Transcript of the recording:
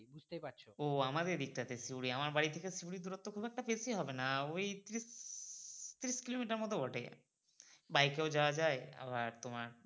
ও আমাদের এদিক টা তে আমার বাড়ির থেকে সিউড়ির দূরত্ব খুব একটা বেশি হবে না ওই তিরিশ কিলোমিটার মতো তো বটেই বাইকেও যাওয়া যায় আবার তোমার